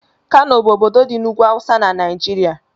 Kano bụ ọbọdọ dị n'ugwú awụsa n'naijiria.